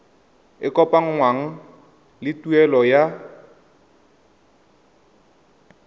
e kopanngwang le tuelo ya